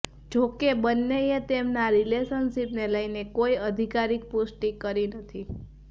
જોકે બન્નેએ તેમના રિલેશનશિપને લઇને કોઇ અધિકારીક પુષ્ટિ કરી નથી